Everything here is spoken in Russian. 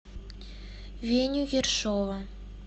веню ершова